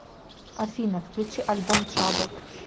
афина включи альбом трабл